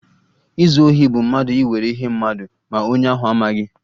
Izu ohi bụ mmadụ iwere ihe mmadụ ma onye ahụ amaghị